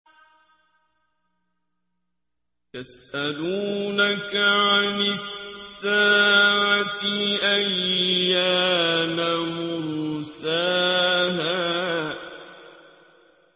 يَسْأَلُونَكَ عَنِ السَّاعَةِ أَيَّانَ مُرْسَاهَا